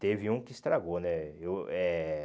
Teve um que estragou, né? Eu eh